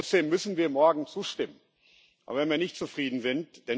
Trotzdem müssen wir morgen zustimmen, auch wenn wir nicht zufrieden sind.